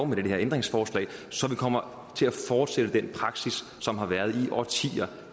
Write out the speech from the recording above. med det her ændringsforslag så vi kommer til at fortsætte den praksis som har været i årtier